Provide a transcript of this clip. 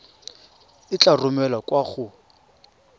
e tla romelwa kwa go